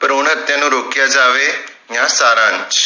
ਭਰੂਣ ਹਤਿਆ ਨੂੰ ਰੋਕਿਆ ਜਾਵੇ ਯਾ ਸਾਰਾਂਸ਼